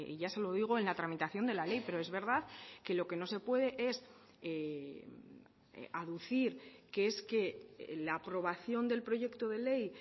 ya se lo digo en la tramitación de la ley pero es verdad que lo que no se puede es aducir que es que la aprobación del proyecto de ley